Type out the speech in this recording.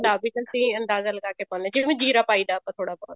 ਮੁਤਾਬੀਕ ਅਸੀਂ ਅੰਦਾਜਾ ਲਾ ਕੇ ਪਾਉਣੇ ਹਾਂ ਜਿਵੇਂ ਜ਼ੀਰਾ ਪਾਈਦਾ ਆਪਾਂ ਥੋੜਾ ਬਹੁਤ